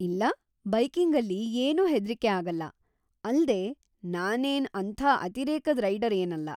ಇಲ್ಲ, ಬೈಕಿಂಗಲ್ಲಿ ಏನೂ ಹೆದ್ರಿಕೆ ಆಗಲ್ಲ, ಅಲ್ದೇ ನಾನೇನ್‌ ಅಂಥ ಅತಿರೇಕದ್ ರೈಡರ್‌ ಏನಲ್ಲ.